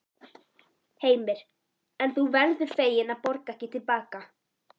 Heimir: En þú verður fegin að borga ekki til baka?